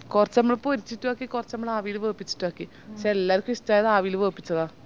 കൊർച് മ്മള് പൊരിച്ചിറ്റാക്കി കൊർച് മ്മള് ആവില് വെപ്പിച്ചിറ്റു ആക്കി പഷേ എല്ലാർക്കു ഇഷ്ട്ടായത് ആവില് വേപ്പിച്ചതാ